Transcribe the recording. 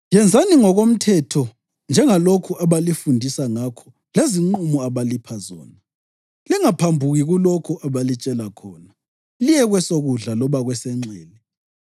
Yenzani ngokomthetho njengalokho abalifundisa ngakho lezinqumo abalipha zona. Lingaphambuki kulokho abalitshela khona, liye kwesokudla loba kwesenxele.